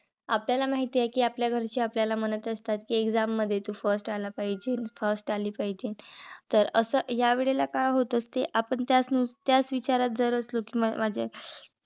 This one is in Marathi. आपल्याला माहित आहे. कि आपल्या घरचे आपल्याला म्हणत असतात कि exam मध्ये तू first आला पाहिजे. first आली पाहिजे. तर अस ह्यावेळेला काय होत असते कि आपण त्याच त्याच विचारात जर असलो कि म्हणजे